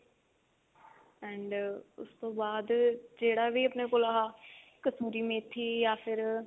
ਉਸਤੋਂ ਬਾਅਦ ਜਿਹੜਾ ਵੀ ਆਪਣੇ ਕੋਲ ਇਹ ਕਸਤੂਰੀ ਮੇਥੀ ਯਾ ਫਿਰ